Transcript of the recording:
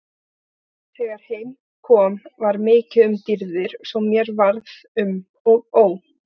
Þegar heim kom var mikið um dýrðir svo mér varð um og ó.